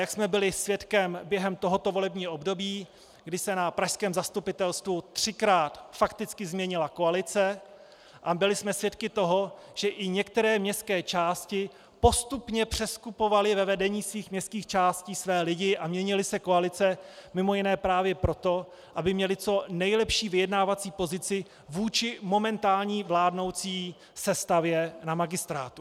Jak jsme byli svědkem během tohoto volebního období, kdy se na pražském zastupitelstvu třikrát fakticky změnila koalice a byli jsme svědky toho, že i některé městské části postupně přeskupovaly ve vedení svých městských částí své lidi a měnily se koalice mimo jiné právě proto, aby měly co nejlepší vyjednávací pozici vůči momentální vládnoucí sestavě na magistrátu.